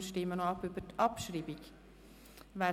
Wir stimmen noch über die Abschreibung ab.